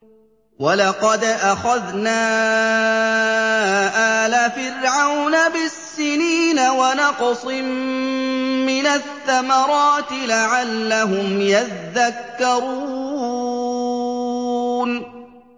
وَلَقَدْ أَخَذْنَا آلَ فِرْعَوْنَ بِالسِّنِينَ وَنَقْصٍ مِّنَ الثَّمَرَاتِ لَعَلَّهُمْ يَذَّكَّرُونَ